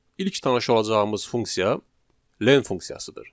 İlk tanış olacağımız funksiya len funksiyasıdır.